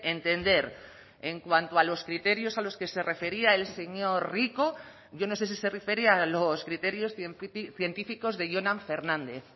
entender en cuanto a los criterios a los que se refería el señor rico yo no sé si se refería a los criterios científicos de jonan fernández